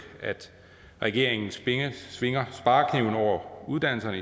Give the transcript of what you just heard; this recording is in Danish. at regeringen svinger svinger sparekniven over uddannelserne